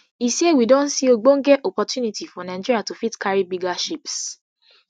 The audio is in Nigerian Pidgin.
e say we don see ogbonge opportunity for nigeria to fit carry carry bigger ships